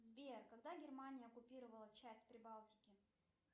сбер когда германия оккупировала часть прибалтики